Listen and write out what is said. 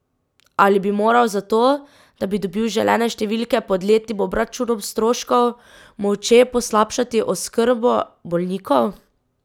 Ali bi moral zato, da bi dobil želene številke pod letnim obračunom stroškov, molče poslabšati oskrbo bolnikov?